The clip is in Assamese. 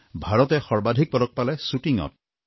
ভাৰতে সৰ্বাধিক পদক পালে শ্বুটিঙত